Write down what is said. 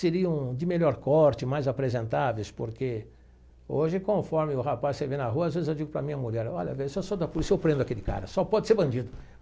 seriam de melhor corte, mais apresentáveis, porque hoje, conforme o rapaz você vê na rua, às vezes eu digo para minha mulher, olha bem, se eu sou da polícia eu prendo aquele cara, só pode ser bandido.